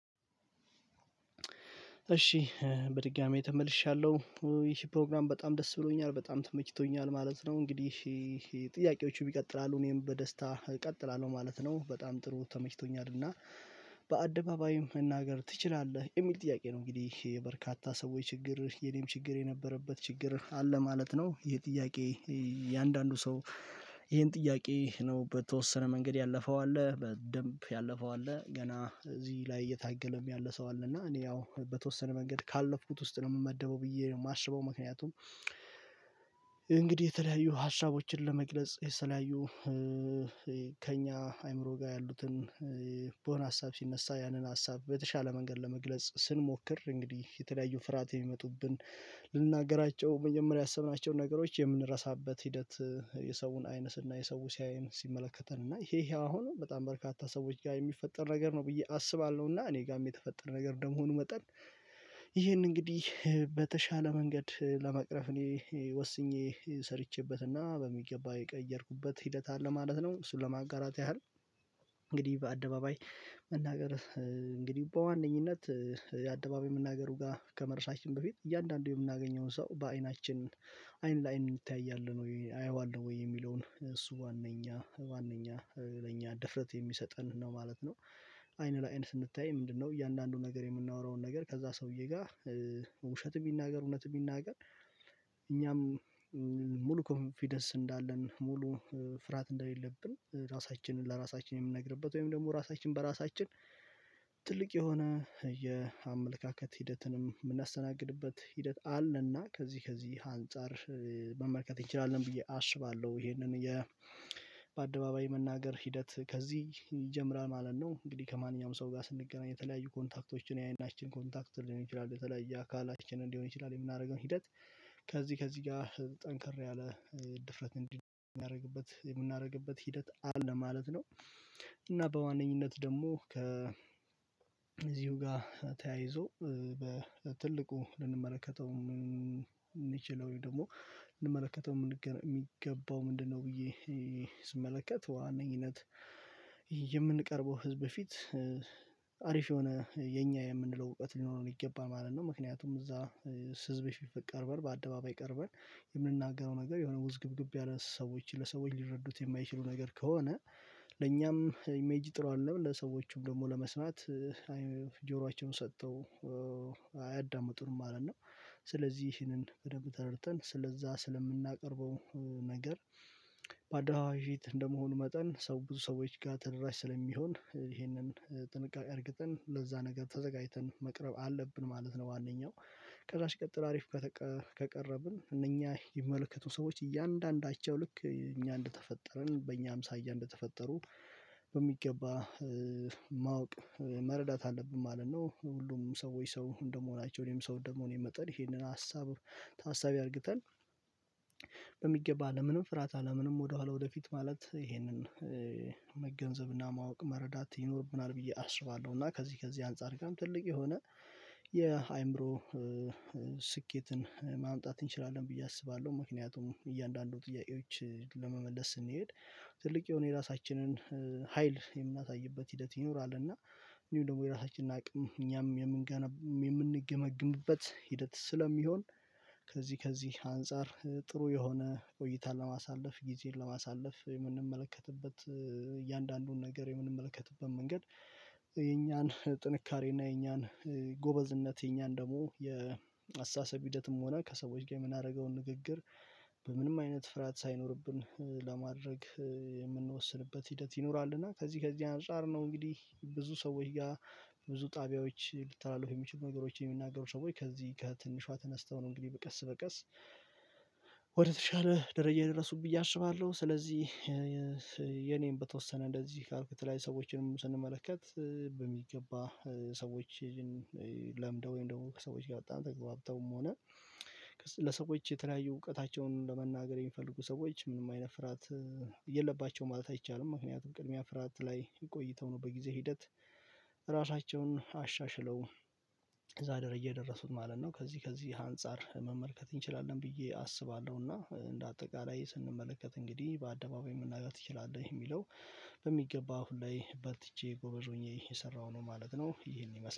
እሺ በድጋሜ ተመልሻለሁ ይሄ ፕሮግራም በጣም ደስ ብሎኛል በጣም ተመችቶኛል ማለት ነው። እንግዲህ ጥያቄዎቹ ይቀጥላሉ እኔም በደስታ እቀጥላለሁ ማለት ነው በጣም ጥሩ ተመችቶኛል። እና በአደባባይም መናገር ትችላለህ የሚል ጥያቄ ነው እንግዲህ በርካታ ሰዎች ችግር የኔም ችግር የነበረበት ችግር አለ ማለት ነው። ይሄ ጥያቄ? የአንዳንዱ ሰው ይሄን ጥያቄ ነው በተወሰነ መንገድ ያለፈው አለ በደንብ ያለፈው አለ ገና እዚህ ላይ እየታገለም ያለ ሰው አለ እና እኔ ያው በተወሰነ መንገድ ካለፍኩት ውስጥ ነው የምመደበው ብዬ ነው የማስበው። ምክንያቱም እንግዲህ የተለያዩ ሀሳቦችን ለመግለጽ የተለያዩ ከእኛ አይምሮ ጋር ያሉትን በሆነ ሀሳብ ሲነሳ ያንን ሀሳብ በተሻለ መንገድ ለመግለጽ ስንሞክር እንግዲህ የተለያዩ ፍርሃት የሚመጡብን ልንናገራቸው መጀመሪያ ያሰብናቸውን ነገሮች የምንረሳበት ሂደት የሰውን አይነ ስናይ እና የሰው ሲያየን ሲመለከተን እና ይሄ ይሄ አሁንም በጣም በርካታ ሰዎች ጋር የሚፈጠር ነገር ነው ብዬ አስባለሁ እና እኔ ጋርም የተፈጠረ ነገር ደም መሆኑ መጠን ይሄንን እንግዲህ በተሻለ መንገድ ለመቅረፍ እኔ ወስኜ ሰርቼበትና በሚገባ የቀየርኩበት ሂደት አለ ማለት ነው። እሱን ለማጋራት ያህል እንግዲህ በአደባባይ መናገር እንግዲህ በዋነኝነት አደባባይ መናገሩ ጋር ከመረሳችን በፊት እያንዳንዱ የምናገኘውን ሰው በአይናችን አይን ለአይን እንተያያለን ወይ አየዋለው ወይ የሚለውን እሱ ዋናኛ ዋናኛ ለኛ ድፍረት የሚሰጠን ነው ማለት ነው። አይን ለአይን ስንታያይ ምንድነው? እያንዳንዱን ነገር የምናወራውን ነገር ከዛ ሰውዬ ጋር ውሸት የሚናገር እውነት የሚናገር እኛም ሙሉ ኮንፊደንስ እንዳለን ሙሉ ፍርሃት እንደሌለብን ራሳችንን ለራሳችን የምንነግርበት ወይም ደግሞ ራሳችን በራሳችን ትልቅ የሆነ የአመለካከት ሂደትንም የምናስተናግድበት ሂደት አለና ከዚህ ከዚህ አንፃር መመልከት እንችላለን ብዬ አስባለሁ። ይሄንን በአደባባይ መናገር ሂደት ከዚህ ይጀምራል ማለት ነው። እንግዲህ ከማንኛውም ሰው ጋር ስንገናኝ የተለያዩ ኮንታክቶችን ያይናችን ኮንታክት ሊሆን ይችላል በተለይ የአካላችንን ሊሆን ይችላል የምናደርገውን ሂደት ከዚህ ከዚህ ጋር ጠንከር ያለ ድፍረት እንዲህ የምናደርግበት የምናደርግበት ሂደት አለ ማለት ነው። እና በዋነኝነት ደግሞ ከእዚሁ ጋር ተያይዞ በትልቁ ልንመለከተው የምንችለው ወይም ደግሞ ልንመለከተው የሚገባው ምንድነው? ብዬ ስመለከት በዋነኝነት የምንቀርበው ህዝብ ፊት አሪፍ የሆነ የኛ የምንለው እውቀት ሊኖረን ይገባን ማለት ነው። ምክንያቱም እዛ ህዝብ ቀርበን በአደባባይ ቀርበን የምንናገረው ነገር የሆነ ውዝግብግብ ያለ ሰዎችን ለሰዎች ሊረዱት የማይችሉ ነገር ከሆነ ለእኛም ኢሜጅ ጥሩ አደለም ለሰዎቹም ደግሞ ለመስማት ጆሯቸውን ሰጥተው አያዳምጡንም ማለት ነው። ስለዚህ ይህንን በደንብ ተረድተን ስለዛ ስለምናቀርበው ነገር በአደባባይ ፊት እንደመሆኑ መጠን ሰው ብዙ ሰዎች ጋር ተደራሽ ስለሚሆን ይሄንን ጥንቃቄ እርግጥን ለዛ ነገር ተዘጋጅተን መቅረብ አለብን ማለት ነው። ዋናኛው ከዛስ ሲጥሎ አሪፍ ከቀረብን እነኛ የሚመለከቱን ሰዎች እያንዳንዳቸው ልክ እኛ እንደተፈጠረን በእኛም አምሳያ እንደተፈጠሩ በሚገባ ማወቅ መረዳት አለብን ማለት ነው። ሁሉም ሰዎች ሰው እንደመሆናቸው እኔም ሰው እነደመሆኔ መጠን ይሄንን ሀሳብ ታሳቢ አድርግተን በሚገባ አለምንም ፍራት አለ ምንም ወደኋላ ወደፊት ማለት ይሄንን መገንዘብና ማወቅ መረዳት ይኖርብናል ብዬ አስባለሁ። እና ከዚህ ከዚህ አንፃር ጋርም ትልቅ የሆነ የአይምሮ ስኬትን ማምጣት እንችላለን ብዬ አስባለሁ። ምክንያቱም እያንዳንዱ ጥያቄዎች ለመመለስ ስንሄድ ትልቅ የሆነ የራሳችንን ሀይል የምናሳይበት ሂደት ይኖራል እና እነዲሁም ደግሞ የራሳችንን አቅም እኛም የምንገነብ የምንገመግምበት ሂደት ስለሚሆን። ከዚህ ከዚህ አንፃር ጥሩ የሆነ ቆይታን ለማሳለፍ ጊዜን ለማሳለፍ የምንመለከትበት እያንዳንዱን ነገር የምንመለከትበት መንገድ የኛን ጥንካሬ እና የኛን ጎበዝነት የኛን ደግሞ የአስተሳሰብ ሂደትም ሆነ ከሰዎች ጋር የምናደርገውን ንግግር በምንም አይነት ፍርሃት ሳይኖርብን ለማድረግ የምንወስንበት ሂደት ይኖራል። እና ከዚህ ከዚህ አንፃር ነው እንግዲህ ብዙ ሰዎች ጋር ብዙ ጣቢያዎች ሊታላልፉ የሚችሉ ነገሮችን የሚናገሩ ሰዎች ከዚህ ከትንሿ ተነስተው ነው እንግዲህ ቀስ በቀስ ወደተሻለ ደረጃ የደረሱት ብዬ አስባለሁ። ስለዚህ በተወሰነ እንደዚህ ካልኩ የተለያዩ ሰዎችንም ስንመለከት በሚገባ ሰዎችን ለምደው ወይም ደግሞ ከሰዎች ጋር በጣም ተግባብተውም ሆነ ለሰዎች የተለያዩ እውቀታቸውን ለመናገር የሚፈልጉ ሰዎች ምንም አይነት ፍራት የለባቸውም ማለት አይቻልም። ምክንያቱም ቅድሚያ ፍራት ላይ ቆይተው ነው በጊዜ ሂደት ራሳቸውን አሻሽለው እዛ ደረጃ የደረሱት ማለት ነው። ከዚህ ከዚህ አንፃር መመልከት እንችላለን ብዬ አስባለሁና እንደ አጠቃላይ ስንመለከት እንግዲህ በአደባባይ መናገር ትችላለህ የሚለው በሚገባው አሁን ላይ በርትቼ ጎበዝ ሆኜ እየሰራሁ ነው ማለት ነው። ይሄን ይመስላል